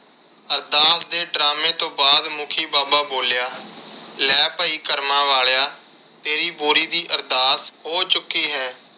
ਅਰਦਾਸ ਦੇ drama ਤੋਂ ਬਾਅਦ ਮੁਖੀ ਬਾਬਾ ਬੋਲਿਆ, ਲੈ ਭਾਈ ਕਰਮਾ ਵਾਲਿਆਂ ਤੇਰੀ ਬੋਰੀ ਦੀ ਅਰਦਾਸ ਹੋ ਚੁੱਕੀ ਹੈ।